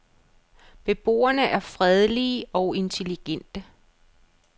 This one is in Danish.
Beboerne er fredelige og intelligente.